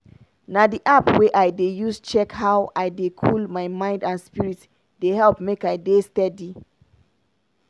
na d app wey i dey use check how i dey cool my mind and spirit dey help make i dey steady.